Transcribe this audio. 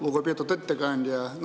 Lugupeetud ettekandja!